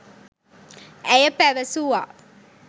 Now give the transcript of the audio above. ඇය පැවසුවා